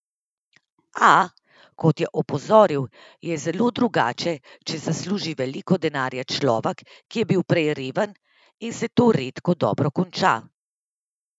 A, kot je opozoril, je zelo drugače, če zasluži veliko denarja človek, ki je bil prej reven, in se to redko dobro konča.